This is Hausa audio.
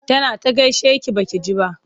Tana ta gaishe ki ba ki ji ba.